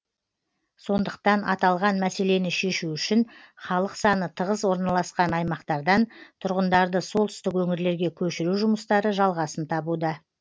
сондықтан аталған мәселені шешу үшін халық саны тығыз орналасқан аймақтардан тұрғындарды солтүстік өңірлерге көшіру жұмыстары жалғасын табуда